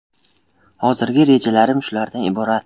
Hozirgi rejalarim shulardan iborat.